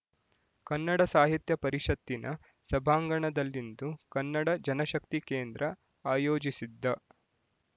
ಕನ್ನಡ ಸಾಹಿತ್ಯ ಪರಿಷತ್ತಿನ ಸಭಾಂಗಣದಲ್ಲಿಂದು ಕನ್ನಡ ಜನಶಕ್ತಿ ಕೇಂದ್ರ ಆಯೋಜಿಸಿದ್ದ